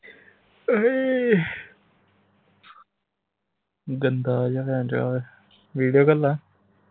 ਗੰਦਾ ਜਾ ਆਹ ਵੇਖ video ਘਁਲਾਂ